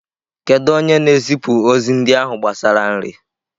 Kedu onye na-ezipụ ozi ndị ahụ gbasara nri?